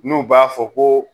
N'u b'a fɔ koo